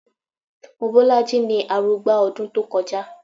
Mobọ́lájí ni arugba ọdún tó kọjá